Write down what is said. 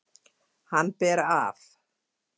Hann ber af.